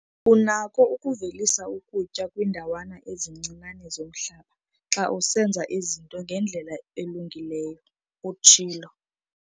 "Unako ukuvelisa ukutya kwiindawana ezincinane zomhlaba xa usenza izinto ngendlela elungileyo," utshilo.